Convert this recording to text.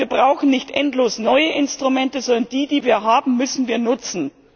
Das heißt, wir brauchen nicht endlos neue Instrumente, sondern die, die wir haben, müssen wir nutzen.